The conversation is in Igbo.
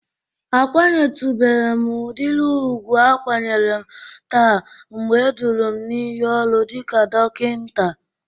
A kwanyetubere m udịri ugwu akwanyere m taa mgbe eduru m n"iyi ọrụ dịka dokinta.